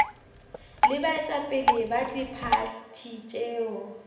le baetapele ba diphathi tšeo